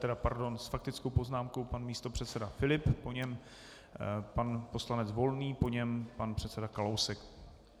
Tedy pardon, s faktickou poznámkou pan místopředseda Filip, po něm pan poslanec Volný, po něm pan předseda Kalousek.